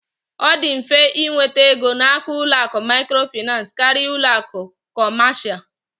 Ọ dị mfe ịnweta ego n'aka ụlọ akụ Microfinance karịa ụlọ akụ kọmasia.